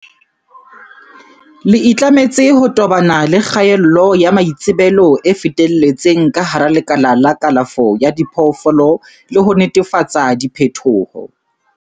Le itlametse ho tobana le kgaello ya maitsebelo e fetelletseng ka hara lekala la kalafo ya diphoofolo le ho netefatsa diphethoho.